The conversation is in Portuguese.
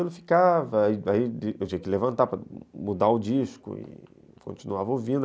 Eu tinha que levantar para mudar o disco e continuava ouvindo.